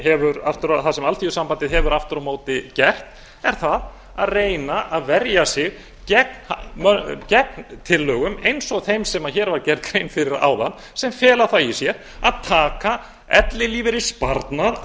hefur aftur á móti gert er það að reyna að verja sig gegn tillögum eins og þeim sem hér var gerð grein fyrir áðan sem fela það í sér að taka ellilífeyrissparnað